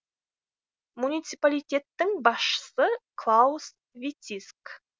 муниципалитеттің басшысы клаус вициск